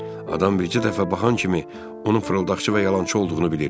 Adam bircə dəfə baxan kimi onu fırıldaqçı və yalançı olduğunu bilir.